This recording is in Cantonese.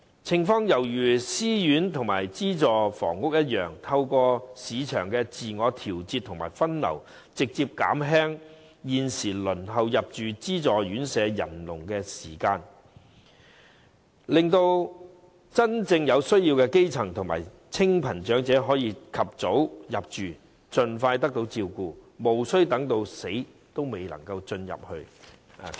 情況猶如私樓和資助房屋一樣，透過市場自我調節和分流，直接縮減現時輪候入住資助院舍的人龍和時間，令到真正有需要的基層和清貧長者可以及早入住，盡快得到照顧，無需等到死仍未能入住院舍。